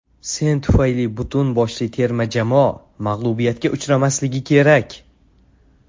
Sen tufayli butun boshli terma jamoa mag‘lubiyatga uchramasligi kerak.